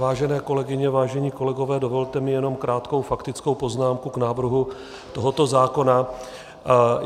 Vážené kolegyně, vážení kolegové, dovolte mi jenom krátkou faktickou poznámku k návrhu tohoto zákona.